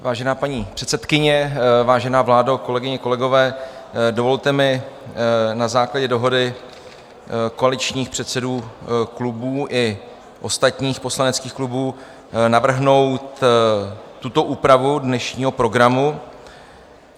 Vážená paní předsedkyně, vážená vládo, kolegyně, kolegové, dovolte mi na základě dohody koaličních předsedů klubů i ostatních poslaneckých klubů navrhnout tuto úpravu dnešního programu.